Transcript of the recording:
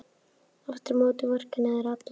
Aftur á móti vorkenna þér allir.